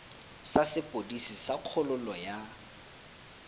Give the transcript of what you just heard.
sa sepodisi sa kgololo ya